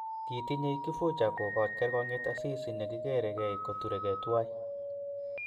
Kitinyei Kifuja kokoch kergongyet Asisi ne kikerei koturekei tuwai